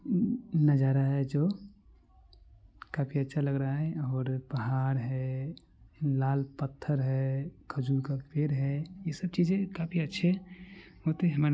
नजारा है जो काफी अच्छा लग रहा है और पहाड़ है लाल पत्थर है खजूर का पेड़ है ये सब चीज़े काफी अच्छे होते है--